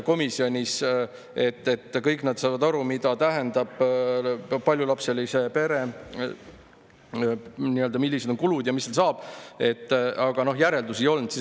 Kõik nad nagu saavad aru, mida tähendab paljulapseline pere, millised on kulud ja mis nendega edasi saab, aga järeldusi ei olnud.